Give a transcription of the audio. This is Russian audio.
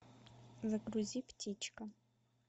загрузи птичка